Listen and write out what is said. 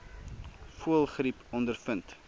voëlgriep ondervind